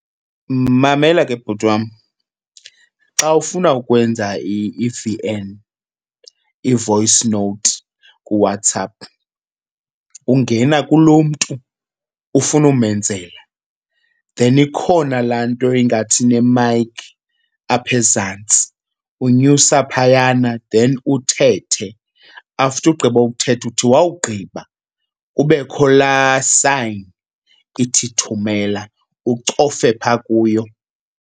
Mamela ke bhuti wam xa ufuna ukwenza i-V_N, i-voice note kuWhatsApp, ungena kulo mntu ufuna umenzela. Then ikhona laa nto ingathi inemayikhi apha ezantsi, unyusa phayana then uthethe. After ugqiba uthetha, uthi wawugqiba kubekho laa sayini ithi thumela ucofe phaa kuyo.